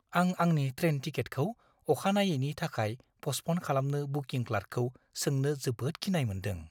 आं आंनि ट्रेन टिकेटखौ अखानायैनि थाखाय पस्टप'न खालामनो बुकिं क्लार्कखौ सोंनो जोबोद गिनाय मोन्दों।